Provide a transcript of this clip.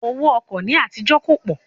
Owó ọkọ̀ ní àtijó kò pọ̀